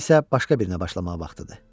İndi isə başqa birinə başlamaq vaxtıdır.